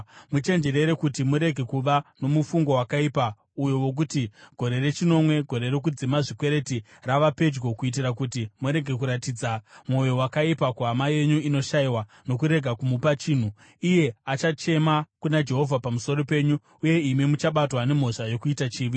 Muchenjerere kuti murege kuva nomufungo wakaipa uyu wokuti: “Gore rechinomwe, gore rokudzima zvikwereti, rava pedyo,” kuitira kuti murege kuratidza mwoyo wakaipa kuhama yenyu inoshayiwa nokurega kumupa chinhu. Iye achachema kuna Jehovha pamusoro penyu, uye imi muchabatwa nemhosva yokuita chivi.